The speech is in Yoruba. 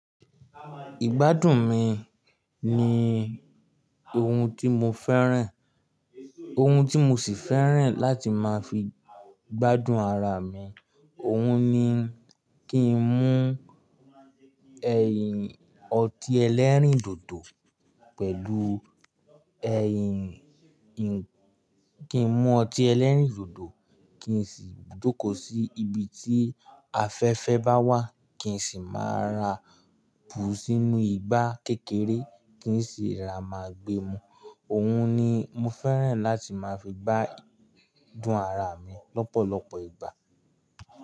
Ìgbádùn mi ni ohun tí mo fẹ́ràn, ohun tí mo sì fẹ́ràn láti máa fi gbádùn ara mi. Òhun ni kí n mú ẹyin ọtí ẹlẹ́rìndòdò pẹ̀lú ẹyin kí n mú ọtí ẹlẹ́rìndòdò kin sì jókòó sí ibi tí afẹ́fẹ́ bá wà, kin sì máa ra bù sínú igbá kékeré kín sì ra máa gbe mú. Òhun ni mo fẹ́ràn láti máa fi gbádùn ara mi lọ́pọ̀lọpọ̀ ìgbà.